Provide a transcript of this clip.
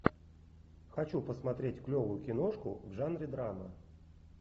хочу посмотреть клевую киношку в жанре драма